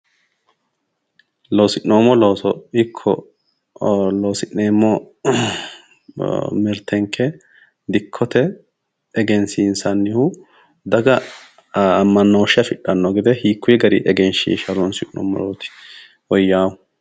Loosi'noommo looso ikko loosi'neemmo mirtenke dikkote egensiinsannihu daga ammanooshe afidhanno gede hiikkuyi gari egenshiisha horoonsi'nummorooti woyyaahu